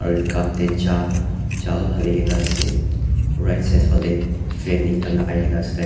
red cup tey cha cha haligena ase right side phale fan ekta lagai kena ase tai aro--